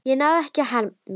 Ég náði ekki að hemla.